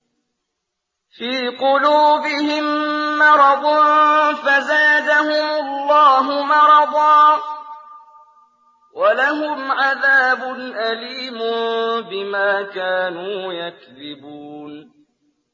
فِي قُلُوبِهِم مَّرَضٌ فَزَادَهُمُ اللَّهُ مَرَضًا ۖ وَلَهُمْ عَذَابٌ أَلِيمٌ بِمَا كَانُوا يَكْذِبُونَ